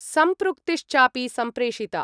सम्पृक्तिश्चापि सम्प्रेषिता।